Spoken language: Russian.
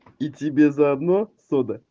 и тебе заодно